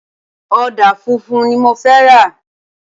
Ọ̀dà funfun ni mo fẹ́ rà.